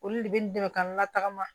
Olu de bɛ n dɛmɛ ka n latgama